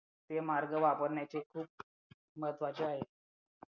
ते मार्ग वापरण्याचे खूप महत्त्वाचे आहे